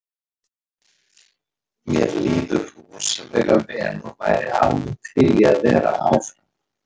Mér líður rosalega vel og væri alveg til í að vera áfram.